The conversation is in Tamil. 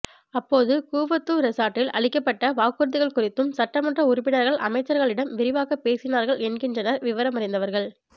அப்போது கூவத்தூர் ரெசார்ட்டில் அளிக்கப்பட்ட வாக்குறுதிகள் குறித்தும் சட்டமன்ற உறுப்பினர்கள் அமைச்சர்களிடம் விரிவாகப் பேசினார்கள் என்கின்றனர் விவரமறிந்தவர்கள்